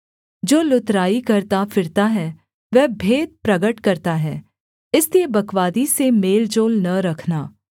जो लुतराई करता फिरता है वह भेद प्रगट करता है इसलिए बकवादी से मेल जोल न रखना